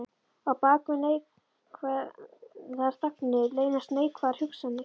Á bak við neikvæðar þagnir leynast neikvæðar hugsanir.